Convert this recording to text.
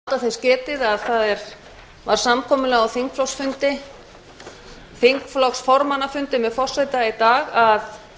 forseti vill láta þess getið að það var samkomulag á þingflokksformannafundi með forseta í dag að